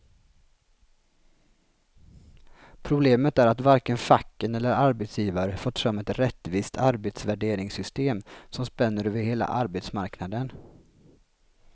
Problemet är att varken facken eller arbetsgivare fått fram ett rättvist arbetsvärderingssystem som spänner över hela arbetsmarknaden.